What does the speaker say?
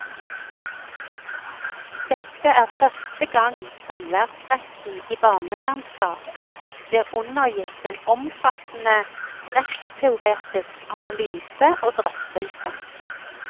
Dette er første gang samværsretten i barnevernssaker blir undergitt en omfattende rettsteoretisk analyse og drøftelse.